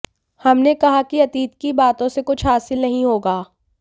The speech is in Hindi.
हमने कहा कि अतीत की बातों से कुछ हासिल नहीं होगा